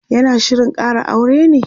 yana Shirin Kara aure ne?